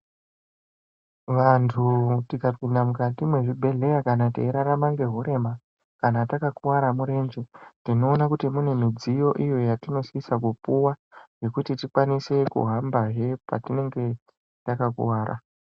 Vantu tikapinda mukati mwezvibhehleya kana teirarama ngehurema kana takakuvara murenje. Tinoona kuti mune midziyo iyo yatinosise kupuwa yekuti tikwanise kuhambazve patinenge takakuvara,